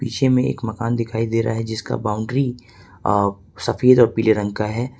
पीछे में एक मकान दिखाई दे रहा है जिसका बाउंड्री सफेद आ पीले रंग का है।